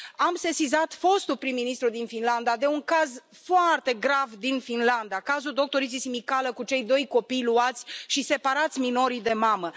Am sesizat fostul prim ministru din Finlanda, de un caz foarte grav din Finlanda, cazul doctoriței Smicală, cu cei doi copii luați și separați minorii de mamă.